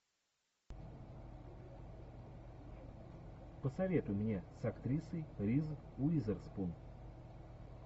посоветуй мне с актрисой риз уизерспун